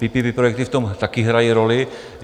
PPP projekty v tom také hrají roli.